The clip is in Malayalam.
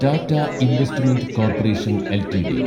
Tata investment corporation LTD